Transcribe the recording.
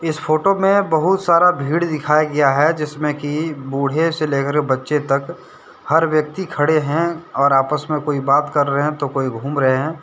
इस फोटो में बहुत सारा भीड़ दिखाया गया है जिसमें कि बूढ़े से लेकर बच्चों तक हर व्यक्ति खड़े हैं और आपस में कोई बात कर रहे हैं तो कोई घूम रहे हैं।